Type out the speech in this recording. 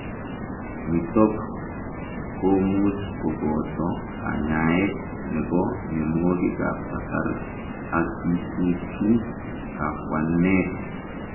Nitook komuuch kobotoo kanyaeet nepoo mionwogik ap kasar ak kichuchuu kapwaneet